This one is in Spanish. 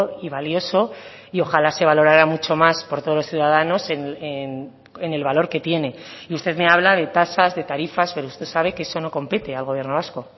y valioso y ojalá se valorara mucho más por todos los ciudadanos en el valor que tiene y usted me habla de tasas de tarifas pero usted sabe que eso no compete al gobierno vasco